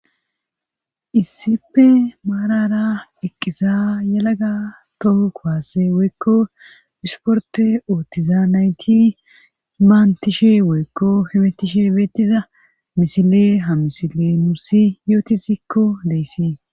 Issippe maarara eqqiza yalaga toho kuwaase woykko ishportte oottiza nayti manttishe woykko yoytishe beetiza misile ha misiley nuus yotizikko deess.